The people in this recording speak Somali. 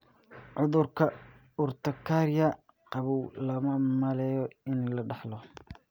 Cudurka urtikaria qabow looma maleeyo in la dhaxlo.